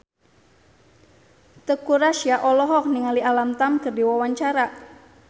Teuku Rassya olohok ningali Alam Tam keur diwawancara